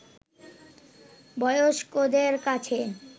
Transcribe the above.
বয়স্কদের কাছে